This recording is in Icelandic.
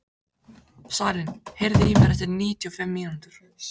Salín, heyrðu í mér eftir níutíu og fimm mínútur.